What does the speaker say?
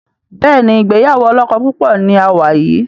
Béèni ìgbéyàwó olókó púpò ní a wá yí.